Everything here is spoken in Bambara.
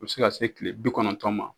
U bɛ se ka se kile bi kɔnɔtɔn ma.